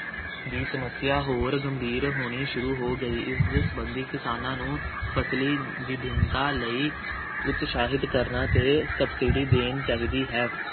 ਦੀ ਸਮੱਸਿਆ ਹੋਰ ਗੰਭੀਰ ਹੋਣੀ ਸ਼ੁਰੂ ਹੋ ਗਈ। ਇਸ ਸੰਬੰਧੀ ਕਿਸਾਨਾਂ ਨੂੰ ਫ਼ਸਲੀ ਵਿਭਿੰਨਤਾ ਲਈ ਉਤਸ਼ਾਹਿਤ ਕਰਨਾ ਅਤੇ subsidy ਦੇਣ ਚਾਹੀਦੀ ਹੈ।